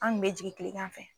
An kun be jigin kilengan fɛ